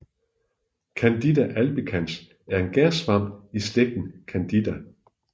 Candida albicans er en gærsvamp i slægten Candida